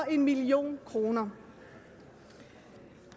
en million kroner